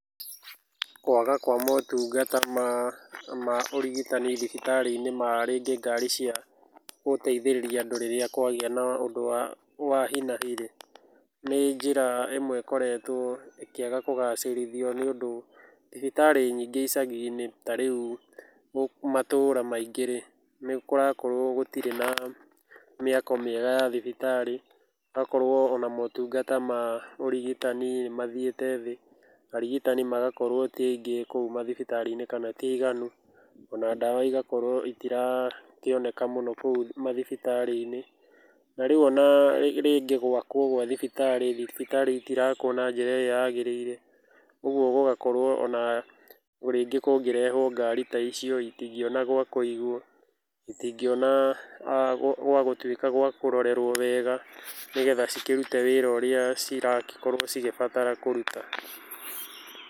Kwaga kwa motungata ma ũrigitani thibitarĩ-inĩ ma rĩngĩ ngari cia gũteithĩrĩria andũ rĩrĩa kwagĩa na ũndũ wa hi-na-hi rĩ, nĩ njĩra ĩmwe ĩkoretwo ĩkĩaga kũgacĩrithio nĩ ũndũ thibitarĩ nyingĩ icagi-inĩ tarĩu matũũra maingĩ-rĩ, nĩ kũrakorwo gũtirĩ na mĩako mĩega ya thibitarĩ, gũgakorwo ona motungata ma ũrigitani mathiĩte thĩ, arigitani magakorwo ti aĩngi kũu mathibitarĩ-inĩ kana ti aiganu, ona ndawa igakorwo itirakĩoneka mũno kũu mathibitarĩ-inĩ. Na riũ ona rĩngĩ gwakwo kwa thibitarĩ, thibitarĩ itirakwo na njĩra ĩrĩa yagĩrĩire ũguo gũgakorwo ona rĩngĩ kũngĩrehwo ngari ta icio itingĩona gwa kũigwo, itingĩona gwa gũtuĩka gwa kũrorerwo wega nĩgetha cikĩrute wĩra ũrĩa cirakorwo cigĩbatara kũruta.